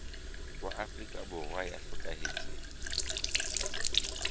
wa afrika borwa ya hlokahetseng